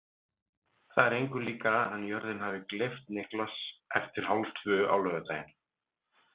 Það er engu líkara en jörðin hafi gleypt Niklas eftir hálftvö á laugardaginn.